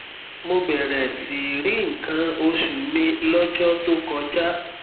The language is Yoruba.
mo bẹrẹ sí í rí nǹkan oṣù mi lọjọ tó kọjá